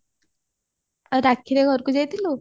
ରାକ୍ଷୀରେ ଘରକୁ ଯାଇଥିଲୁ